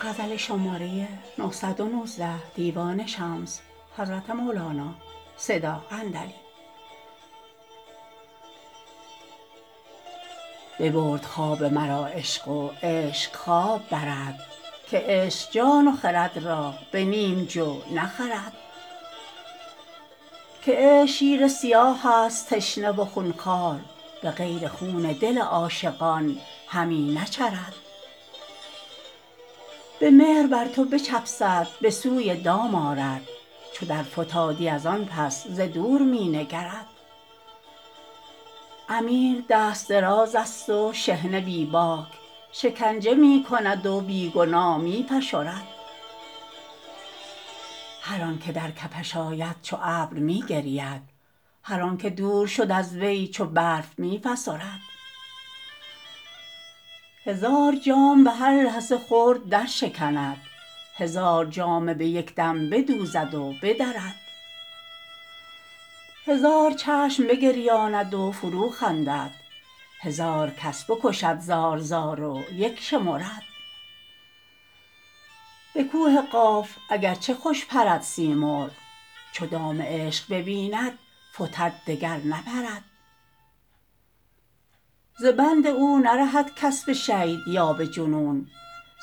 ببرد خواب مرا عشق و عشق خواب برد که عشق جان و خرد را به نیم جو نخرد که عشق شیر سیاه ست تشنه و خون خوار به غیر خون دل عاشقان همی نچرد به مهر بر تو بچفسد به سوی دام آرد چو درفتادی از آن پس ز دور می نگرد امیر دست درازست و شحنه بی باک شکنجه می کند و بی گناه می فشرد هر آنک در کفش آید چو ابر می گرید هر آنک دور شد از وی چو برف می فسرد هزار جام به هر لحظه خرد درشکند هزار جامه به یک دم بدوزد و بدرد هزار چشم بگریاند و فروخندد هزار کس بکشد زار زار و یک شمرد به کوه قاف اگر چه که خوش پرد سیمرغ چو دام عشق ببیند فتد دگر نپرد ز بند او نرهد کس به شید یا به جنون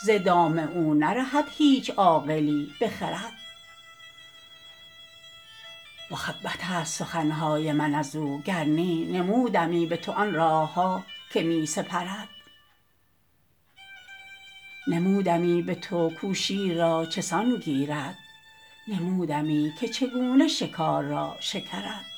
ز دام او نرهد هیچ عاقلی به خرد مخبط ست سخن های من از او گر نی نمودمی به تو آن راه ها که می سپرد نمودمی به تو کو شیر را چه سان گیرد نمودمی که چگونه شکار را شکرد